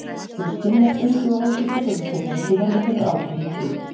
Þau skynja streitu og áhyggjur fullorðna fólksins og verða fyrir áhrifum af því.